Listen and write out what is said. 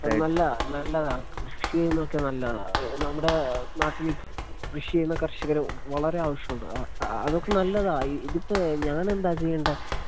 അത് നല്ലതാ അത് നല്ലതാ കൃഷി ചെയ്യുന്നത് ഒക്കെ നല്ലത നമ്മുടെ നാട്ടില് കൃഷി ചെയ്യുന്ന കർഷകര് വളരെ ആവശ്യമുണ്ട് ആ അതൊക്കെ നല്ലത ഈ ഇതിപ്പോ ഞാനെന്താ ചെയ്യണ്ടേ?